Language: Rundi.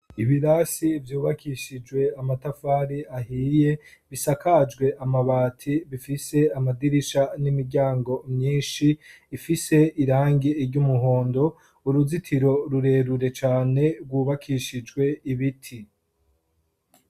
ibirasi vyubakishijwe amatafari ahiye bisakajwe amabati bifise amadirisha n'imiryango myinshi ifise irangi iry'umuhondo uruzitiro rurerure cane rwubakishijwe ibiti